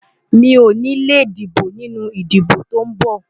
Mi ò ní lè dìbò nínú ìbò tó ń bọ̀.